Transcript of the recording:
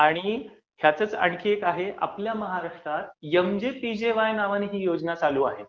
आणि ह्याचंच आणखी एक आहे, आपल्या महाराष्ट्रात एमजेपीजेवाय नावानं ती योजना चालू आहे.